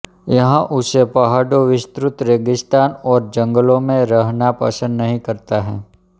यह ऊँचे पहाडो विस्तृत रेगिस्तान और जंगलो में रहना पसंद नही करता है